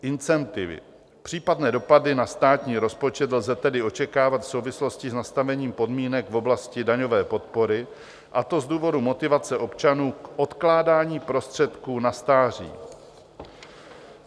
Případné dopady na státní rozpočet lze tedy očekávat v souvislosti s nastavením podmínek v oblasti daňové podpory, a to z důvodu motivace občanů k odkládání prostředků na stáří.